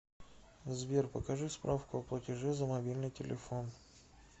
сбер покажи справку о платеже за мобильный телефон